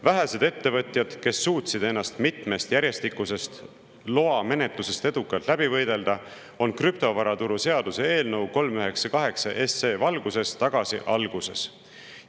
Vähesed ettevõtjad, kes suutsid ennast mitmest järjestikusest loamenetlusest edukalt läbi võidelda, on krüptovaraturu seaduse eelnõu 398 valguses tagasi alguses.